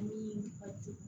Ni a ju